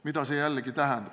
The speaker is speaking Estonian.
Mida see tähendab?